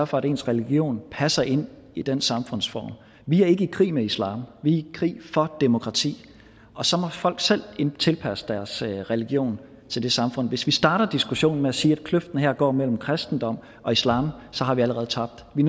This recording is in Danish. for at ens religion passer ind i den samfundsform vi er ikke i krig med islam vi er i krig for demokrati og så må folk selv tilpasse deres religion til det samfund hvis vi starter diskussionen med at sige at kløften her går mellem kristendom og islam har vi allerede tabt vi